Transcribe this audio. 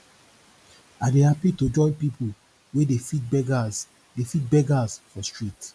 i dey hapi to join pipu wey dey feed beggers dey feed beggers for street